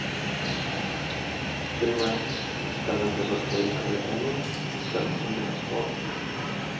фильмы страны производства великобритания карты деньги два ствола